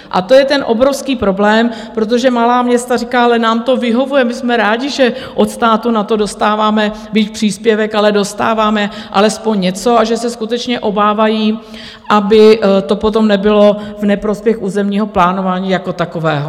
A to je ten obrovský problém, protože malá města říkají: Ale nám to vyhovuje, my jsme rádi, že od státu na to dostáváme, byť příspěvek, ale dostáváme alespoň něco, a že se skutečně obávají, aby to potom nebylo v neprospěch územního plánování jako takového.